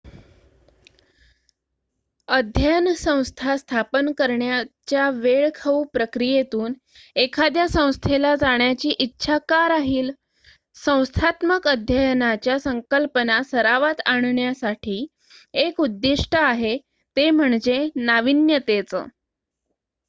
अध्ययन संस्था स्थापन करण्याच्या वेळ खाऊ प्रक्रियेतून एखाद्या संस्थेला जाण्याची इच्छा का राहील संस्थात्मक अध्ययनाच्या संकल्पना सरावात आणण्यासाठी एक उद्दिष्ट आहे ते म्हणजे नाविन्यतेचं